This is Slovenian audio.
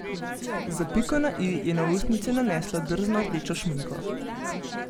Za piko na i je na ustnice nanesla drzno rdečo šminko.